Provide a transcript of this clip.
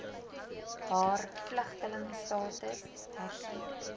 haar vlugtelingstatus hersien